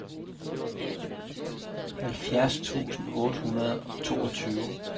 halvfjerds tusind otte hundrede og toogtyve